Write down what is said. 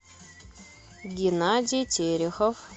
геннадий терехов